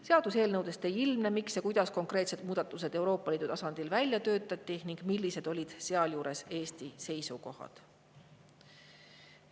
Seaduseelnõudest ei ilmne, miks ja kuidas konkreetsed muudatused Euroopa Liidu tasandil välja töötati ning millised olid sealjuures Eesti seisukohad.